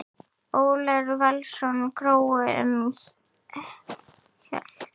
Ólafur Valsson: Grói um heilt?